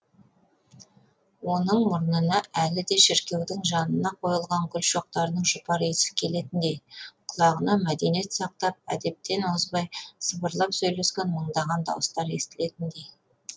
оның мұрнына әлі де шіркеудің жанына қойылған гүл шоқтарының жұпар иісі келетіндей құлағына мәдениет сақтап әдептен озбай сыбырлап сөйлескен мыңдаған дауыстар естілетіндей